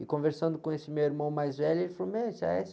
E conversando com esse meu irmão mais velho, ele falou, meu, esse á-ésse